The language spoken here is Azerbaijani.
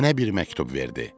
Mənə bir məktub verdi.